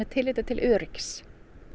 tilliti til öryggis